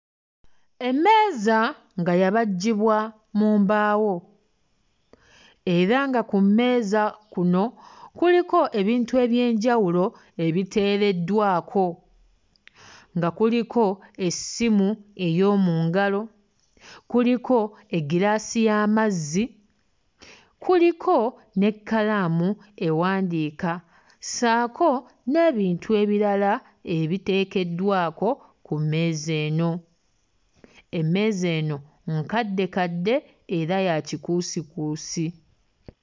Emmeeza nga yabajjibwa mu mbaawo era nga ku mmeeza kuno kuliko ebintu eby'enjawulo ebiteereddwako nga kuliko essimu ey'omu ngalo, kuliko eggiraasi y'amazzi, kuliko n'ekkalaamu ewandiika ssaako n'ebintu ebirala ebiteekeddwako ku mmeeza eno. Emmeeza eno nkaddekadde era ya kikuusikuusi.